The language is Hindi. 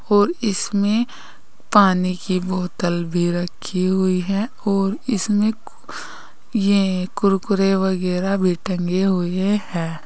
और इसमें पानी की बोतल भी रखी हुई है और इसमें कु ये कुरकुरे वगैरा भी टंगे हुए हैं।